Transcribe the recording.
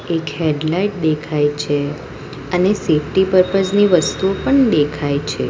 એક હેડલાઈટ દેખાય છે અને સીટી પર્પજ ની વસ્તુઓ પણ દેખાય છે.